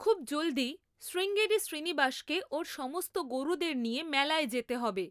খুব জলদি শ্রীঙ্গেরি শ্রীনিবাসকে ওর সমস্ত গরুদের নিয়ে মেলায় যেতে হবে